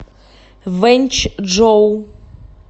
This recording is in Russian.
вэньчжоу